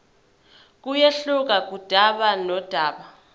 kuyehluka kudaba nodaba